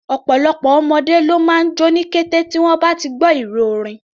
Ọ̀pọ̀lọpọ̀ ọmọdé ló máa jó ní kété tí wọ́n bá gbọ́ ìró orin.